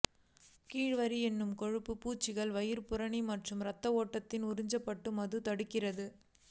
கீழே வரி என்று கொழுப்பு பூச்சுகள் வயிறு புறணி மற்றும் இரத்த ஓட்டத்தில் உறிஞ்சப்பட்டு மது தடுக்கிறது